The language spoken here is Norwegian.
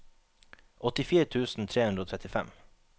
åttifire tusen tre hundre og trettifem